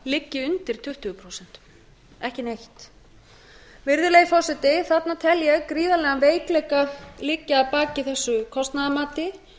liggi undir tuttugu prósent ekki neitt virðulegi forseti þarna tel ég gríðarlegan veikleika liggja að baki þessu kostnaðarmati